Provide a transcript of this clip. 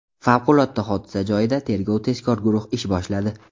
Favqulodda hodisa joyida tergov-tezkor guruh ish boshladi.